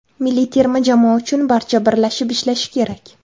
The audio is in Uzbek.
Milliy terma jamoa uchun barcha birlashib ishlashi kerak.